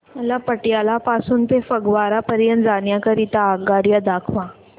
मला पटियाला पासून ते फगवारा पर्यंत जाण्या करीता आगगाड्या दाखवा